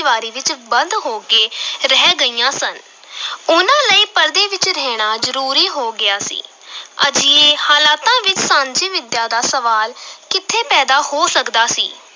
ਦੀਵਾਰੀ ਵਿੱਚ ਬੰਦ ਹੋ ਕੇ ਰਹਿ ਗਈਆਂ ਸਨ ਉਹਨਾਂ ਲਈ ਪਰਦੇ ਵਿੱਚ ਰਹਿਣਾ ਜ਼ਰੂਰੀ ਹੋ ਗਿਆ ਸੀ ਅਜਿਹੇ ਹਾਲਾਤਾਂ ਵਿੱਚ ਸਾਂਝੀ ਵਿੱਦਿਆ ਦਾ ਸਵਾਲ ਕਿੱਥੇ ਪੈਦਾ ਹੋ ਸਕਦਾ ਸੀ।